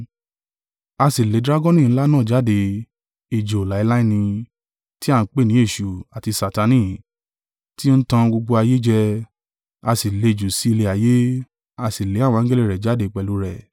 A sì lé dragoni ńlá náà jáde, ejò láéláé nì, tí a ń pè ni Èṣù, àti Satani, tí ń tan gbogbo ayé jẹ: a sì lé e jù sí ilẹ̀ ayé, a sì lé àwọn angẹli rẹ̀ jáde pẹ̀lú rẹ̀.